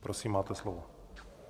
Prosím, máte slovo.